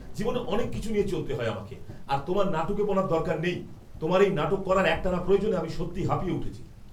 জীবনে অনেক কিছু নিয়ে চলতে হয় আমাকে, আর তোমার নাটুকেপনার দরকার নেই। তোমার এই নাটক করার একটানা প্রয়োজনে আমি সত্যিই হাঁফিয়ে উঠেছি।